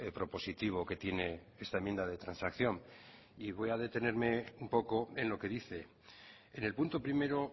propositivo que tiene esta enmienda de transacción y voy a detenerme un poco en lo que dice en el punto primero